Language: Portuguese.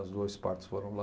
Os dois partos foram lá.